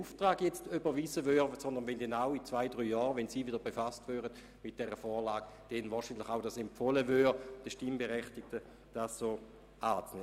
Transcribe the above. Vielmehr wäre dies wohl nur den Fall, wenn Sie in zwei Jahren, wenn Sie damit befasst würden, dem Stimmvolk die entsprechende Vorlage zur Annahme empfehlen würden.